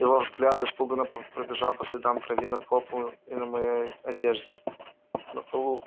его взгляд испуганно пробежал по следам крови на полу и на моей одежде